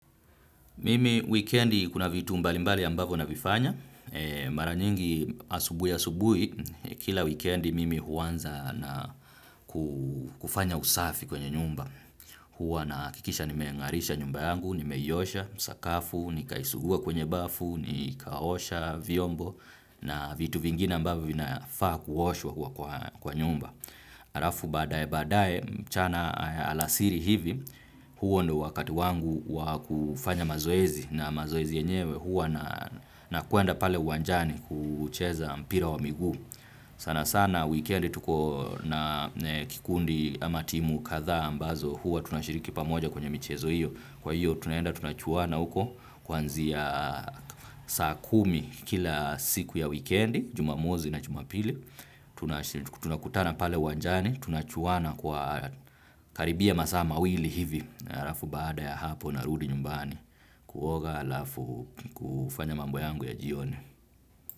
Mimi wikendi kuna vitu mbalimbali ambavyo navifanya. Mara nyingi asubuhi asubuhi, kila wikendi mimi huanza na kufanya usafi kwenye nyumba. Huwa nahakikisha nimeng'arisha nyumba yangu, nimeiosha, sakafu, nikaisugua kwenye bafu, nikaosha, vyombo, na vitu vingine ambavyo vinafaa kuoshwa kwa nyumba. Alafu baadae baadae mchana alasiri hivi huo ndio wakati wangu wa kufanya mazoezi na mazoezi yenyewe huwa nakwenda pale uwanjani kucheza mpira wa miguu. Sana sana weekend tuko na kikundi ama timu kadhaa ambazo huwa tunashiriki pamoja kwenye michezo hiyo. Kwa hiyo tunaenda tunachuana huko kuanzia saa kumi kila siku ya wikendi, jumamosi na jumapili. Tunakutana pale uwanjani tunachuana kwa karibia masaa mawili hivi na alafu baada ya hapo narudi nyumbani kuoga alafu kufanya mambo yangu ya jioni.